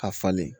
A falen